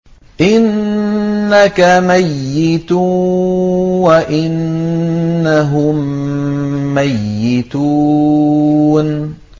إِنَّكَ مَيِّتٌ وَإِنَّهُم مَّيِّتُونَ